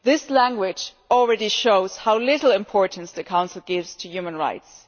This language already shows how little importance the Council gives to human rights.